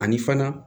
Ani fana